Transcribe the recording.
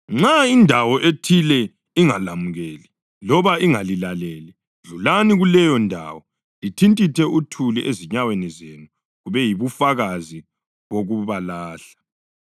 Nxa indawo ethile ingalamukeli loba ingalilaleli, dlulani kuleyondawo lithintithe uthuli ezinyaweni zenu kube yibufakazi bokubalahla.”